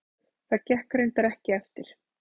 Það gekk reyndar ekki eftir.